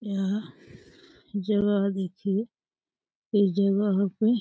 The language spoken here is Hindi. यहाँ जगह देखिए। इस जगह पे --